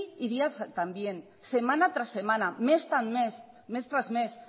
y día también semana tras semana mes tras mes